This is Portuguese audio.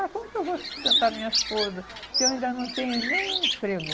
Ah, como que eu vou sustentar minha esposa se eu ainda não tenho nenhum emprego?